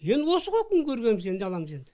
енді осы ғой күн көргеніміз енді не қыламыз енді